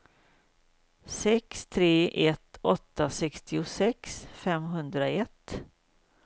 sex tre ett åtta sextiosex femhundraett